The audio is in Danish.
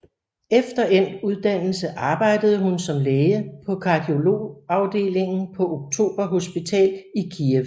Efter endt uddannelse arbejdede hun som læge på kardiologiafdelingen på Oktober Hospital i Kyiv